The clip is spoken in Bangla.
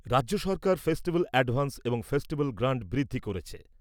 রাজ্য সরকার ফেস্টিভ্যাল অ্যাডভান্স এবং ফেস্টিভ্যাল গ্রান্ট বৃদ্ধি করেছে ।